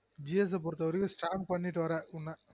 gs அ பொறுத்தவரைக்கும் strong பண்ணிட்டு வர உன்ன